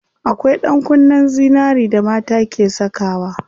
Akwai ɗankunnen zinari da mata ke sakawa.